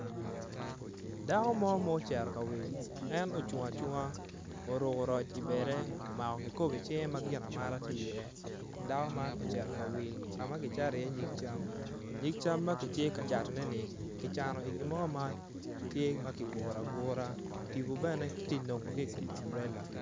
Dako ma ocung acunga oruko roc ibade omako kikopo icinge ma gin amata tye iye dako man ocito ka wil ka ma kicato iye nyig cam nyig cam ma kitye ka catoneni kicano i gin mo ma tye ma kiguro agura tipo bene kiti nongo ki i kom amburela.